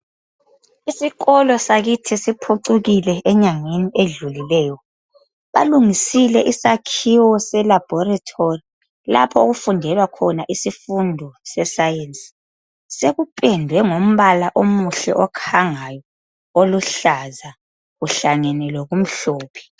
Isikolo sakithi siphucukile enyangeni edlulileyo, balungisile isakhiwo selabhorithori lapho okufundelwa khona isifundo seSayensi. Sekupendwe ngombala omuhle okhangayo oluhlaza uhlangene lokumhlophe.